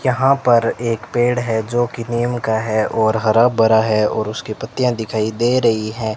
यहां पर एक पेड़ है जो की नीम का है और हरा भरा है और उसकी पत्तियां दिखाई दे रही है।